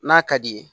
N'a ka di ye